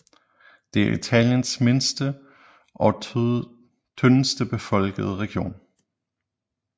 Det er Italiens mindste og tyndest befolkede region